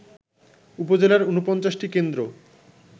উপজেলার ৪৯ টি কেন্দ্র